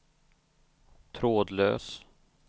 trådlös